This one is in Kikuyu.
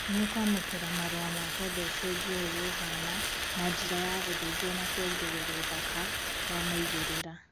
nĩ ũkwamũkĩra marua ma kwenda ũcenjie ũria ũhana na njira ya gũthĩnjwo na kuongerera ũthaka wa maigĩrĩra